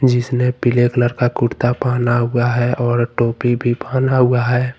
जिसने पीले कलर का कुर्ता पहना हुआ है और टोपी भी पहना हुआ है।